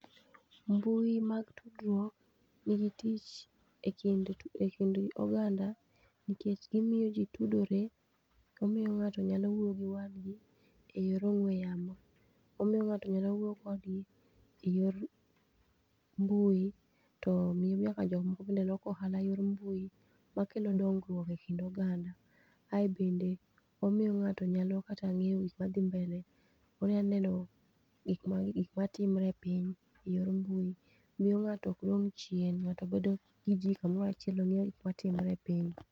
Mbui mag tudruok nigi tich e kind oganda nikech gimiyo ji tudore, omiyo ng'ato nyalo wuoyo gi wadgi e yor ong'we yamo. Omiyo ng'ato nyalo wuoyo kodgi e yor mbui, to miyo nyako jok moko bende loko ohala e yor mbui. Ma kelo dongruok e kind oganda. Ae bende, omiyo ng'ato nyalo kata ng'eyo gik madhi mbele. Onya neno gik ma timre e piny, e yor mbui. Miyo ng'ato ok dong' chien. ng'ato bedo gi ji kamorachiel tong'e gik matimore e piny.